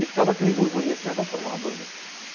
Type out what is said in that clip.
E ficava aquele burburinho assim, ah, vamos formar uma banda?